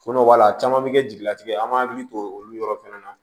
Fɔnɔ b'a la caman bɛ kɛ jigilatigɛ ye an b'an hakili to olu yɔrɔ fɛnɛ na